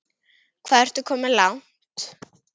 Hvað ertu komin langt?